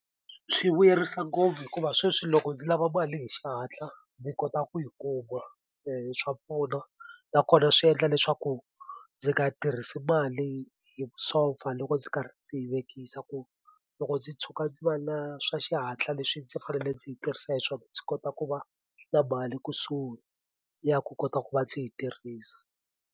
Swi vuyerisa ngopfu hikuva sweswi loko ndzi lava mali hi xihatla ndzi kota ku yi kuma ene swa pfuna nakona swi endla leswaku ndzi nga tirhisi mali hi vusofa loko ndzi karhi ndzi yi vekisa ku loko ndzi tshuka ndzi va na swa xihatla leswi ndzi fanele ndzi yi tirhisa hi swona ndzi kota ku va na mali kusuhi ya ku kota ku va ndzi yi tirhisa.